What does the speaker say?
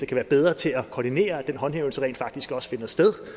kan være bedre til at koordinere og den håndhævelse rent faktisk også finder sted